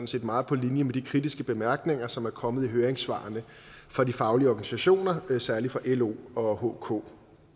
set meget på linje med de kritiske bemærkninger som er kommet i høringssvarene fra de faglige organisationer særlig fra lo og hk